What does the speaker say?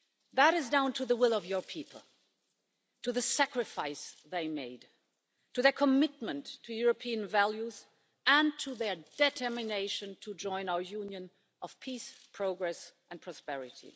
That is down to the will of your people, to the sacrifice they made, to their commitment to European values, and to their determination to join our union of peace, progress and prosperity.